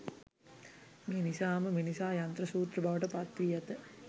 මේ නිසාම මිනිසා යන්ත්‍ර සූත්‍ර බවට පත් වී ඇත.